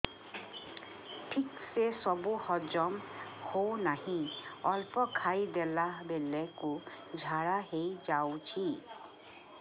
ଠିକସେ ସବୁ ହଜମ ହଉନାହିଁ ଅଳ୍ପ ଖାଇ ଦେଲା ବେଳ କୁ ଝାଡା ହେଇଯାଉଛି